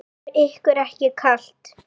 Var ykkur ekki kalt?